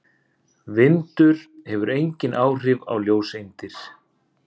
Vindur hefur engin áhrif á ljóseindir.